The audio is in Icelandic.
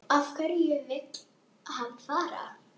Af hverju vill hann fara?